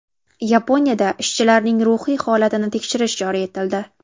Yaponiyada ishchilarning ruhiy holatini tekshirish joriy etildi.